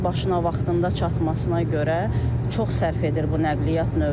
Mənzil başına vaxtında çatmasına görə çox sərf edir bu nəqliyyat növü.